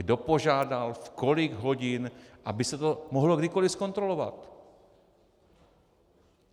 Kdo požádal, v kolik hodin, aby se to mohlo kdykoli zkontrolovat.